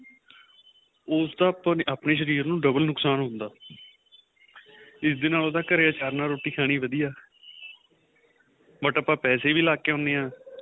ਉਸ ਦਾ ਆਪਣੇਂ ਸ਼ਰੀਰ ਨੂੰ double ਨੁਕਸ਼ਾਨ ਹੁੰਦਾ ਇਸ ਨਾਲੋ ਘਰੇ ਆਚਰ ਨਾਲ ਰੋਟੀ ਖਾਣੀ ਵਧੀਆ but ਆਪਾਂ ਪੈਸੇ ਵੀ ਲਾਕੇ ਆਉਦੇ ਆਂ